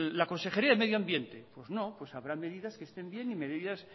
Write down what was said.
la consejería de medioambiente pues no pues habrá medidas que estén bien y medidas